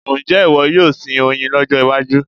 Ǹjẹ́ ìwọ yóò sin oyin lọ́jọ́ iwájú?